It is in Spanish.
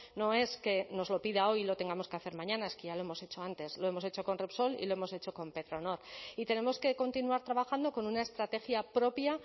no es que nos lo pida hoy y lo tengamos que hacer mañana es que ya lo hemos hecho antes lo hemos hecho con repsol y lo hemos hecho con petronor y tenemos que continuar trabajando con una estrategia propia